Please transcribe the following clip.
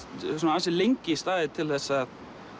ansi lengi staðið til þess að